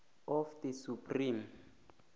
of the supreme